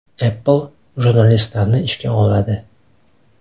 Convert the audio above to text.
Apple jurnalistlarni ishga oladi.